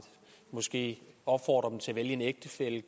måske opfordrer dem til kun at vælge en ægtefælle